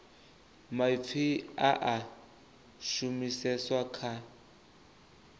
maipfi a a shumiseswa kha